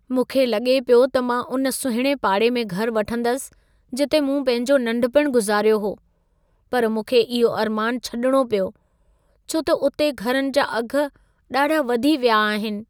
मूंखे लॻे पियो त मां उन सुहिणे पाड़े में घर वठंदसि, जिते मूं पंहिंजो नंढपण गुज़ारियो हो। पर मूंखे इहो अरमान छडि॒णो पियो, छो त उते घरनि जा अघि ॾाढा वधी विया आहिनि।